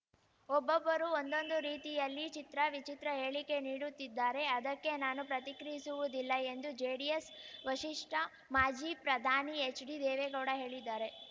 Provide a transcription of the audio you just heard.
ಒಬ್ಬೊಬ್ಬರು ಒಂದೊಂದು ರೀತಿಯಲ್ಲಿ ಚಿತ್ರ ವಿಚಿತ್ರ ಹೇಳಿಕೆ ನೀಡುತ್ತಿದ್ದಾರೆ ಅದಕ್ಕೆ ನಾನು ಪ್ರತಿಕ್ರಿಯಿಸುವುದಿಲ್ಲ ಎಂದು ಜೆಡಿಎಸ್‌ ವಷಿಷ್ಠ ಮಾಜಿ ಪ್ರಧಾನಿ ಎಚ್‌ಡಿ ದೇವೇಗೌಡ ಹೇಳಿದ್ದಾರೆ